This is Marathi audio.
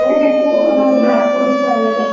हो कमाल आहे नागपूर साईड.